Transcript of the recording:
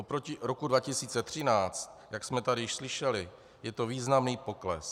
Oproti roku 2013, jak jsme tady již slyšeli, je to významný pokles.